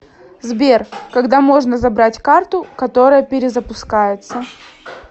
сбер когда можно забрать карту которая перезапускается